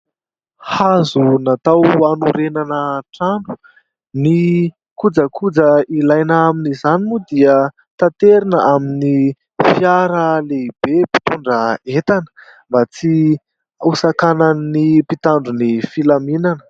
Hazo natao hanorenana trano. Ny kojakoja ilaina amin'izany moa dia taterina amin'ny fiara lehibe mpitondra entana mba tsy hosakanan'ny mpitandro ny filaminana.